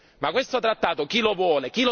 Ma questo trattato chi lo vuole?